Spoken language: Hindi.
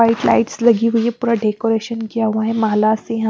वाइट लाइट्स लगी हुई है पूरा डेकोरेशन किया हुआ है माला से --